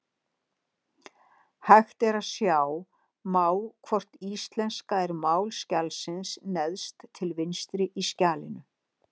Hægt er að sjá má hvort íslenska er mál skjalsins neðst til vinstri í skjalinu.